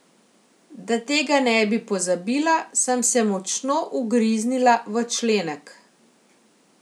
Da tega ne bi pozabila, sem se močno ugriznila v členek.